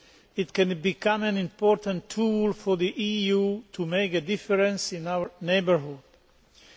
It can become an important tool for the EU to make a difference in our neighbourhood countries.